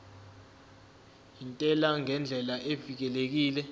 intela ngendlela evikelekile